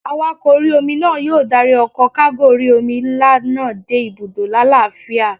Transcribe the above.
Awakọ̀ orí-omi náà yóò dárí ọkọ̀ kágò orí-omi nlá náà dé ibùdó lálàáfíà